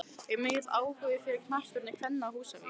Er mikill áhugi fyrir knattspyrnu kvenna á Húsavík?